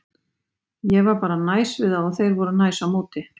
Ég var bara næs við þá og þeir voru næs á móti.